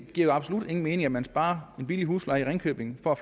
giver absolut ingen mening at man sparer den billige husleje i ringkøbing og